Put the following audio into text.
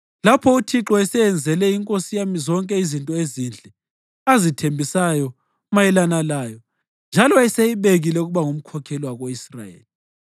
Lapho uThixo eseyenzele inkosi yami zonke izinto ezinhle azithembisayo mayelana layo, njalo eseyibekile ukuba ngumkhokheli wako-Israyeli,